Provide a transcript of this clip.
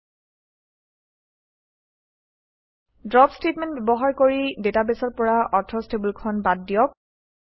৪ drop statement ব্যৱহাৰ কৰি ডাটাবেছৰ পৰা অথৰচ্ টেবুলখন বাদ দিয়ক